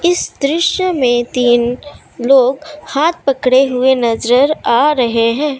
इस दृश्य में तीन लोग हाथ पकड़े हुए नजर आ रहे हैं।